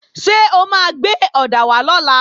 Ṣé o máa gbé ọ̀dà wá lọ́la?